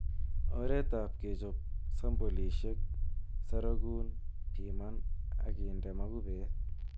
Oretab kechop sampolisiek, sorokun, piman ak inde mokubet.